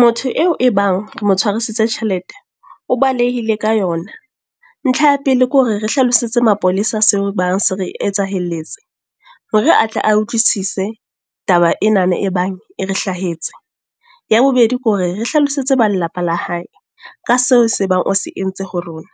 Motho eo e bang re mo tshwarisitse tjhelete. O balehile ka yona. Ntlha ya pele ke hore re hlalosetse mapolesa se e bang se re etsahelletse. Hore atle a utlwisise, taba enana e bang e re hlahetse. Ya bobedi ke hore re hlalosetse ba lelapa la hae. Ka seo se bang o se entse ho rona.